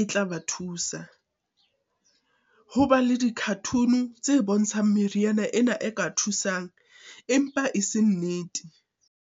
e tla ba thusa. Ho ba le di-cartoon-u tse bontshang meriana ena e ka thusang, empa e se nnete.